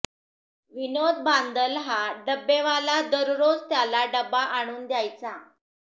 विनोद बांदल हा डब्बेवाला दररोज त्याला डब्बा आणून द्यायचा